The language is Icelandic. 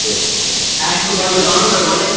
Ekki bað ég hana um að leita.